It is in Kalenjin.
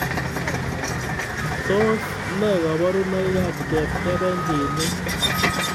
Tos ne kaoborunoikab chepkebenjinik